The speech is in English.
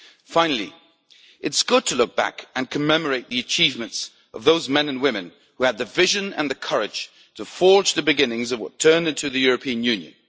Finally, it is good to look back and commemorate the achievements of those men and women who had the vision and the courage to forge the beginnings of what turned into the European Union.